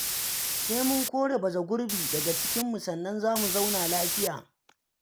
Sai mun kore baragurbi daga cikinmu sannan za mu zauna lafiya.